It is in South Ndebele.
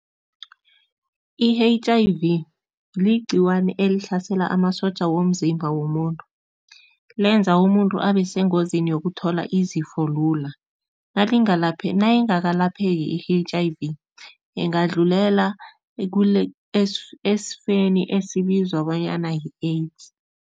I-H_I_V ligcikwane elihlasela amasotja womzimba womuntu, lenza umuntu abasengozini yokuthola izifo lula. Nayingakapheli i-H_I_V, ingadlulela esifeni esibizwa bonyana yi-AIDS.